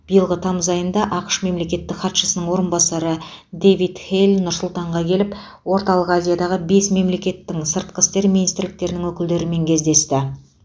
биылғы тамыз айында ақш мемлекеттік хатшысының орынбасары дэвид хейл нұр сұлтанға келіп орталық азиядағы бес мемлекеттің сыртқы істер министрліктерінің өкілдерімен кездесті